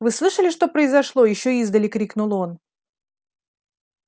вы слышали что произошло ещё издали крикнул он